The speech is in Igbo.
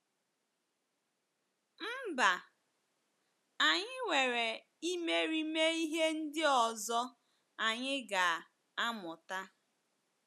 Mba, anyị nwere imerime ihe ndị ọzọ anyị ga - amụta.